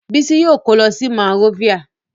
Bísí yóò kó lọ Monrovia.